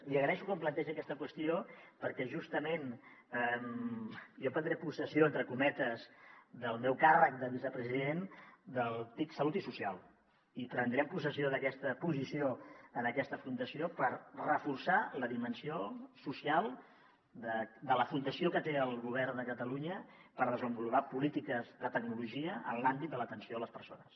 li agraeixo que plantegi aquesta qüestió perquè justament jo prendré possessió entre cometes del meu càrrec de vicepresident del tic salut i social i prendrem possessió d’aquesta posició en aquesta fundació per reforçar la dimensió social de la fundació que té el govern de catalunya per desenvolupar polítiques de tecnologia en l’àmbit de l’atenció a les persones